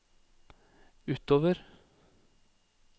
utover